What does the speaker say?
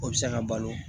O bɛ se ka balo